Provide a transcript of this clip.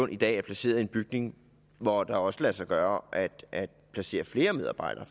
i dag er placeret i en bygning hvor det også lader sig gøre at placere flere medarbejdere